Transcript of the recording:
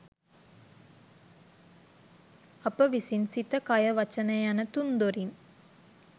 අප විසින් සිත කය වචනය යන තුන් දොරින්